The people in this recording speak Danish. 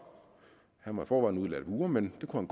han var i forvejen udlært murer men det kunne